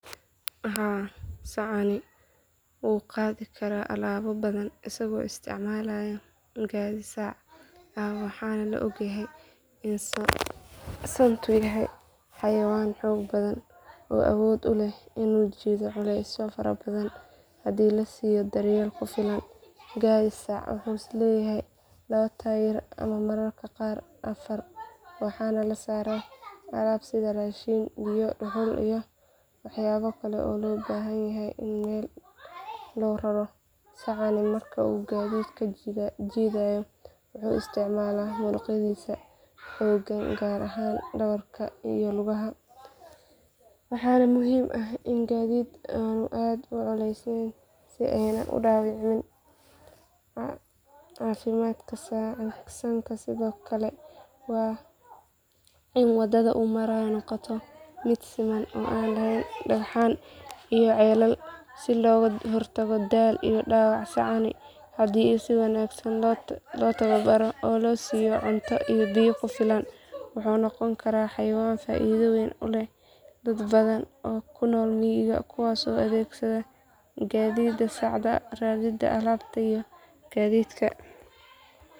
Jawaabtu waxay ku xiran tahay dhowr arrimood oo muhiim ah. Marka hore, gaadhiga sacu waa nooc gaar ah oo gaadhi ah oo loogu talagalay in lagu qaado alaabo culus oo badan, laakiin awoodda uu qaadi karo waxay ku xirnaan doontaa cabbirka sacda, tayada iyo xoojinta gaadhiga, iyo nooca alaabta la rabo in la qaado. Haddii alaabtu tahay mid culus ama baaxad weyn, waxaa laga yaabaa in sacda iyo gaadhigu u baahdaan in la xoojiyo si aysan u jabin ama u lumin karin alaabta. Sidoo kale, haddii jidku yahay mid qallafsan ama meelaha laga maro ay adag yihiin, sacda waxaa laga yaabaa inay ku adkaato in ay si fiican u qaado alaabta badan. Dhanka kale, haddii si habboon loo habeeyo oo alaabtu si siman loogu kala qaybiyo sacda.